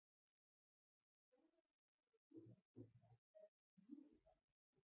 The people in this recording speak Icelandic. Þó að ég væri til í að giska þá er það mjög erfitt.